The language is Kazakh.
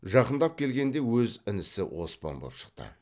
жақындап келгенде өз інісі оспан боп шықты